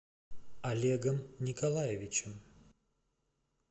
олегом николаевичем